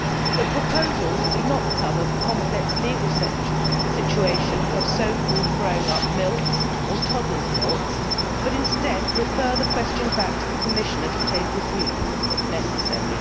The proposals do not cover the complex legal situation of so called growing up milks or toddlers' milks but instead refer the question back to the Commissioner to take a view if necessary.